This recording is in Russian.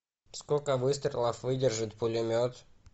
сколько выстрелов выдержит пулемет